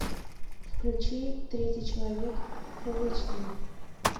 включи третий человек фулл эйч ди